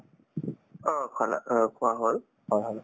অ, খালা অ খোৱা হল